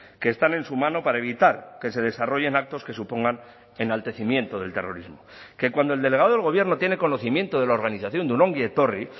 que están en su mano para evitar que se desarrollen actos que supongan enaltecimiento del terrorismo que cuando el delegado del gobierno tiene conocimiento de la organización de un ongi etorri